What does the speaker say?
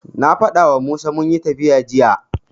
Na faɗawa Musa munyi tafiya jiya.